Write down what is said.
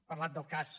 ha parlat del cas